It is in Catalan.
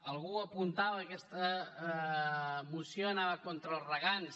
algú apuntava que aquesta moció anava contra els regants